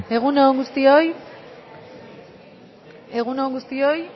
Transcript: egun on guztioi osoko bilkurari hasiera emango diogu mesedez bakoitza zuen eserlekuetan eseri egun on guztioi